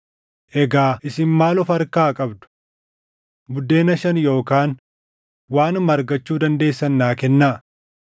Egaa isin maal of harkaa qabdu? Buddeena shan yookaan waanuma argachuu dandeessan naa kennaa.”